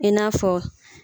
I n'a fɔ